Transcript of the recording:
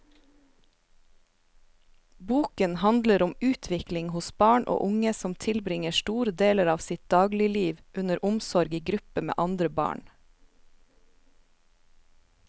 Boken handler om utvikling hos barn og unge som tilbringer store deler av sitt dagligliv under omsorg i gruppe med andre barn.